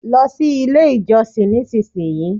lo si ile ijosin ni isinsiyii